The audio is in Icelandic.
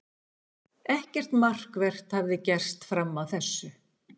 Ekkert markvert hafði gerst fram að þessu.